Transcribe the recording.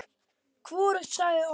Hvorugt sagði orð.